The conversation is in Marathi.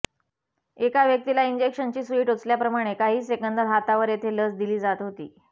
एका व्यक्तीला इंजेक्शनची सुई टोचल्याप्रमाणे काही सेकंदांत हातावर येथे लस दिली जात होती